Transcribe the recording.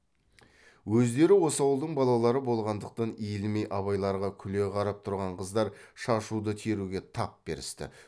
өздері осы ауылдың балалары болғандықтан иілмей абайларға күле қарап тұрған қыздар шашуды теруге тап берісті